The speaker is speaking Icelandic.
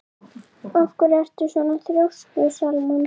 Af hverju ertu svona þrjóskur, Salmann?